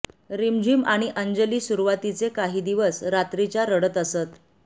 रिमझिम आणि अंजली सुरूवातीचे काही दिवस रात्रीच्या रडत असत